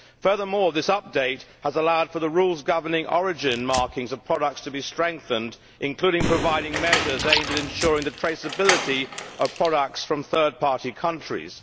Furthermore, this update has allowed for the rules governing origin markings of products to be strengthened, including providing measures aimed at ensuring the traceability of products from third party countries.